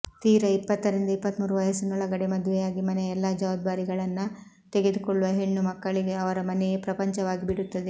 ತೀರ ಇಪ್ಪತ್ತರಿಂದ ಇಪ್ಪತ್ತ್ಮೂರು ವಯಸ್ಸಿನೊಳಗಡೆ ಮದುವೆಯಾಗಿ ಮನೆಯ ಎಲ್ಲಾ ಜವಾಬ್ದಾರಿಗಳನ್ನ ತೆಗೆದುಕೊಳ್ಳುವ ಹೆಣ್ಣು ಮಕ್ಕಳಿಗೆ ಅವರ ಮನೆಯೇ ಪ್ರಪಂಚವಾಗಿಬಿಡುತ್ತದೆ